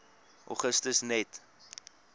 augustus net